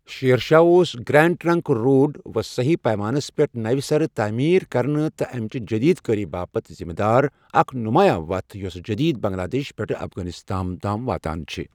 شیر شاہ اوس grand trunk road وصیح پیمانس پیٹھ نوِٚ سرٕ تٔعمیر كرنہٕ تہٕ امِچہِ جٔدیٖد کٲری باپتھ ذمہٕ دار، اکھ نمایاں وتھ یۄس جدید بنگلہٕ دیش پیٹھٕ افغانستانَ تام واتان چھ۔